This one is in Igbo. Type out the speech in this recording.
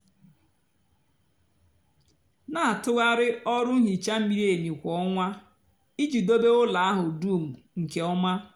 na-atụgharị ọrụ nhicha miri emi kwa ọnwa iji dobe ụlọ ahụ dum nke ọma.